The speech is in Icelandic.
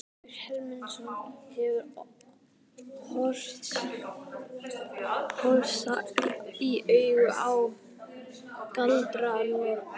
Grímur Hermundsson hefur horfst í augu við galdranorn.